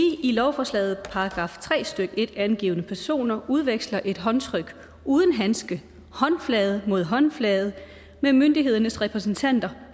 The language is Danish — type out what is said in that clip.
i lovforslaget angivne personer udveksler et håndtryk uden handske håndflade mod håndflade med myndighedernes repræsentanter